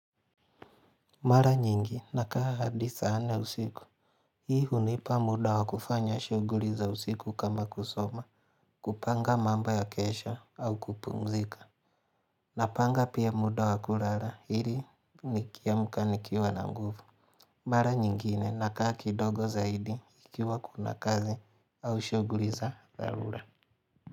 Mara nyingi nakaa hadi saa nne usiku Hii hunipa muda wa kufanya shughuli za usiku kama kusoma. Kupanga mamba ya kesha au kupumzika. Napanga pia muda wa kulala ili nikiamka nikiwa na nguvu Mara nyingine nakaa kidongo zaidi ikiwa kuna kazi au shughuli za dharura.